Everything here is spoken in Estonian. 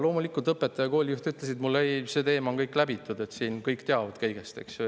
Loomulikult õpetaja ja kooli juht ütlesid mulle, et see teema on läbitud, kõik teavad sellest.